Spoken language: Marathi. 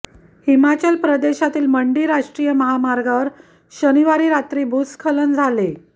हिमाचल प्रदेशातील मंडी राष्ट्रीय महामार्गावर शनिवारी रात्री भूस्खलन झाले